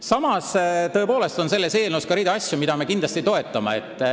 Samas, selles eelnõus on ka asju, mida me kindlasti toetame.